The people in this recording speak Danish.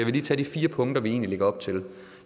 lige tage de fire punkter vi lægger op til